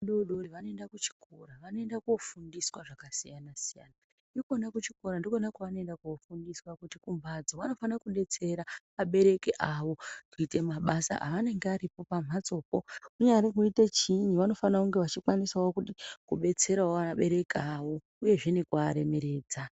Ana adodori vanoenda kuchikora. Vanoenda koofundiswa zvakasiyana siyana. Ikwona kuchikora ndikwona kwavanoenda koofundiswa kuti kumhatso vanofana kudetsera abereki awo kuita mabasa aanenge aripo pamhatso po. Kunyari kuita chiinyi vanofanira kunge vachikwanisa kudetsera wo vabereki awo uyezve nekuaremeredza.